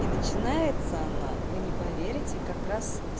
и начинается она вы не поверите как раз